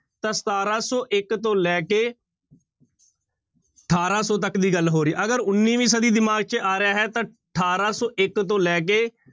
ਤਾਂ ਸਤਾਰਾਂ ਸੌ ਇੱਕ ਤੋਂ ਲੈ ਕੇ ਅਠਾਰਾਂ ਸੌ ਤੱਕ ਦੀ ਗੱਲ ਹੋ ਰਹੀ ਹੈ ਅਗਰ ਉੱਨਵੀਂ ਸਦੀ ਦਿਮਾਗ ਚ ਆ ਰਿਹਾ ਹੈ ਤਾਂ ਅਠਾਰਾਂ ਸੌ ਇੱਕ ਤੋਂ ਲੈ ਕੇ